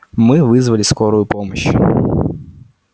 мы вызвали скорую помощь